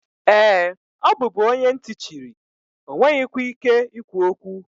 Ee, ọ bụbu onye ntị chiri, ọ nweghịkwa ike ikwu okwu.